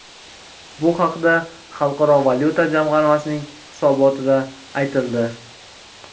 Bu haqda Xalqaro valyuta jamg‘armasining hisobotida aytildi .